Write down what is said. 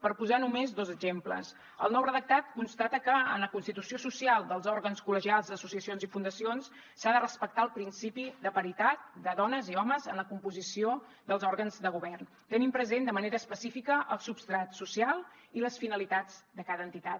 per posar només dos exemples el nou redactat constata que en la constitució social dels òrgans col·legials associacions i fundacions s’ha de respectar el principi de paritat de dones i homes en la composició dels òrgans de govern tenint present de manera específica el substrat social i les finalitats de cada entitat